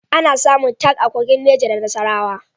Ana samun Talc a Kogi, Neja da Nasarawa.